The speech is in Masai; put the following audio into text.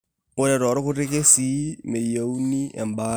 Ore toorkuti kesii, meyieuni embaata.